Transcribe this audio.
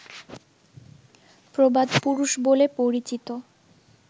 প্রবাদপুরুষ বলে পরিচিত